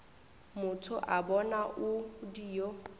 motho wa bona o dio